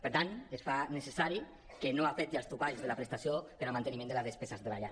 per tant es fa necessari que no afecti els topalls de la prestació per al manteniment de les despeses de la llar